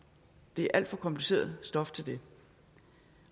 det er alt for kompliceret stof til det